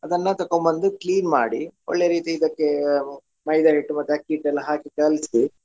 ಅದನ್ನ ತಕೊಬಂದು clean ಮಾಡಿ ಒಳ್ಳೆ ರೀತಿ ಇದಕ್ಕೆ ಮೈದಾ ಹಿಟ್ಟು ಮತ್ತೆ ಅಕ್ಕಿ ಹಿಟ್ಟು ಎಲ್ಲ ಹಾಕಿ ಕಲ್ಸಿ.